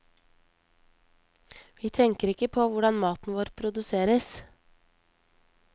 Vi tenker ikke på hvordan maten vår produseres.